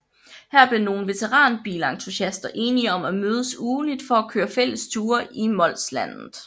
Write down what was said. Her blev nogle veteranbilentusiaster enige om at mødes ugentligt for at køre fælles ture i Molslandet